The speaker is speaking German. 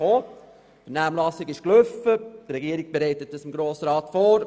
Der Regierungsrat wird es dem Grossen Rat nach der durchgeführten Vernehmlassung vorlegen.